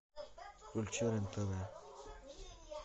включи рен тв